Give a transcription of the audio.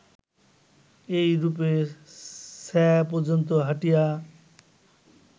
এইরূপে স্যা পর্যন্ত হাঁটিয়া